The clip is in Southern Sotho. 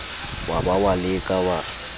wa ba wa leka wa